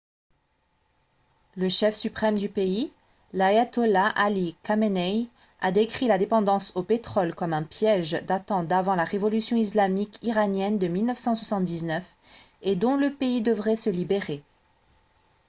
le chef suprême du pays l’ayatollah ali khamenei a décrit la dépendance au pétrole comme un « piège » datant d’avant la révolution islamique iranienne de 1979 et dont le pays devrait se libérer